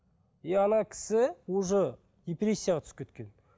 и ана кісі уже депрессияға түсіп кеткен